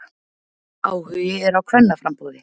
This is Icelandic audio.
Áhugi er á kvennaframboði